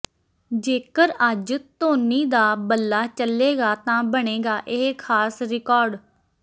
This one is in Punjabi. ਜੇਕਰ ਅੱਜ ਧੋਨੀ ਦਾ ਬੱਲਾ ਚੱਲੇਗਾ ਤਾਂ ਬਣੇਗਾ ਇਹ ਖਾਸ ਰਿਕਾਰਡ